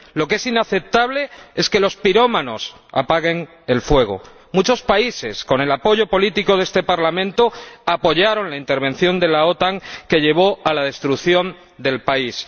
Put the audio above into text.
Lo que es inaceptable es que los pirómanos apaguen el fuego. Muchos países, con el apoyo político de este Parlamento, apoyaron la intervención de la OTAN que llevó a la destrucción del país.